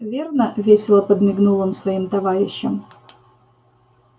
верно весело подмигнул он своим товарищам